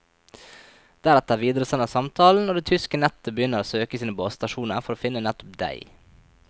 Deretter videresendes samtalen, og det tyske nettet begynner å søke i sine basestasjoner for å finne nettopp deg.